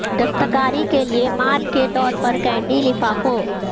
دستکاری کے لئے مال کے طور پر کینڈی لفافوں